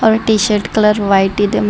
ಅವರ ಈ T shirt colour white ಇದೆ ಮತ್.